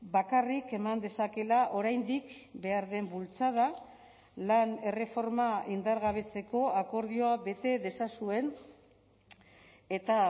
bakarrik eman dezakeela oraindik behar den bultzada lan erreforma indargabetzeko akordioa bete dezazuen eta